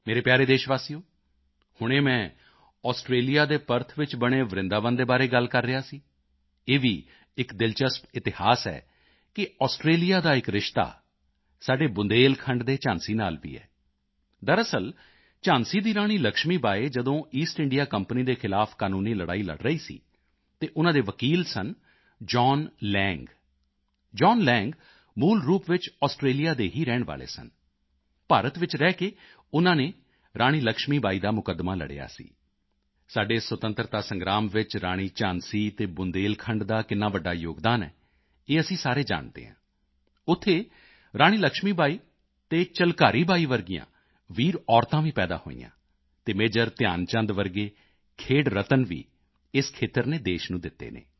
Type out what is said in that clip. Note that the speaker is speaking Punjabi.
ਮੇਰੇ ਪਿਆਰੇ ਦੇਸ਼ਵਾਸੀਓ ਹੁਣੇ ਮੈਂ ਆਸਟ੍ਰੇਲੀਆ ਦੇ ਪਰਥ ਵਿੱਚ ਬਣੇ ਵਰਿੰਦਾਵਨ ਦੇ ਬਾਰੇ ਗੱਲ ਕਰ ਰਿਹਾ ਸੀ ਇਹ ਵੀ ਇੱਕ ਦਿਲਚਸਪ ਇਤਿਹਾਸ ਹੈ ਕਿ ਆਸਟ੍ਰੇਲੀਆ ਦਾ ਇੱਕ ਰਿਸ਼ਤਾ ਸਾਡੇ ਬੁੰਦੇਲਖੰਡ ਦੇ ਝਾਂਸੀ ਨਾਲ ਵੀ ਹੈ ਦਰਅਸਲ ਝਾਂਸੀ ਦੀ ਰਾਣੀ ਲਕਸ਼ਮੀ ਬਾਈ ਜਦੋਂ ਈਸਟ ਇੰਡੀਆ ਕੰਪਨੀ ਦੇ ਖ਼ਿਲਾਫ਼ ਕਾਨੂੰਨੀ ਲੜਾਈ ਲੜ ਰਹੀ ਸੀ ਤਾਂ ਉਨ੍ਹਾਂ ਦੇ ਵਕੀਲ ਸਨ John Lang John Lang John Lang ਮੂਲ ਰੂਪ ਵਿੱਚ ਆਸਟ੍ਰੇਲੀਆ ਦੇ ਹੀ ਰਹਿਣ ਵਾਲੇ ਸਨ ਭਾਰਤ ਵਿੱਚ ਰਹਿ ਕੇ ਉਨ੍ਹਾਂ ਨੇ ਰਾਣੀ ਲਕਸ਼ਮੀ ਬਾਈ ਦਾ ਮੁਕੱਦਮਾ ਲੜਿਆ ਸੀ ਸਾਡੇ ਸੁਤੰਤਰਤਾ ਸੰਗ੍ਰਾਮ ਵਿੱਚ ਰਾਣੀ ਝਾਂਸੀ ਅਤੇ ਬੁੰਦੇਲਖੰਡ ਦਾ ਕਿੰਨਾ ਵੱਡਾ ਯੋਗਦਾਨ ਹੈ ਇਹ ਅਸੀਂ ਸਾਰੇ ਜਾਣਦੇ ਹਾਂ ਉੱਥੇ ਰਾਣੀ ਲਕਸ਼ਮੀ ਬਾਈ ਅਤੇ ਝਲਕਾਰੀ ਬਾਈ ਜਿਹੀਆਂ ਵੀਰ ਮਹਿਲਾਵਾਂ ਵੀ ਪੈਦਾ ਹੋਈਆਂ ਅਤੇ ਮੇਜਰ ਧਿਆਨ ਚੰਦ ਜਿਹੇ ਖੇਡ ਰਤਨ ਵੀ ਇਸ ਖੇਤਰ ਨੇ ਦੇਸ਼ ਨੂੰ ਦਿੱਤੇ ਹਨ